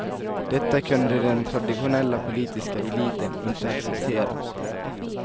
Detta kunde den traditionella politiska eliten inte acceptera.